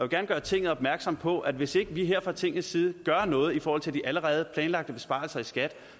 gerne gøre tinget opmærksom på at hvis vi ikke her fra tingets side gør noget i forhold til de allerede planlagte besparelser i skat